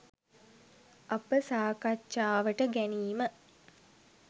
අප සාකච්ඡාවට ගැනීම